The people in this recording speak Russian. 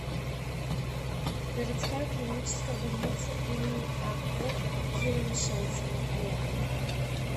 городская клиническая больница им ак ерамишанцева рядом